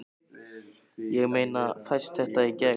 Ég meina, fæst þetta í gegn?